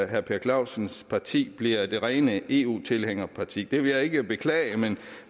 herre per clausens parti bliver det rene eu tilhængerparti det vil jeg ikke beklage men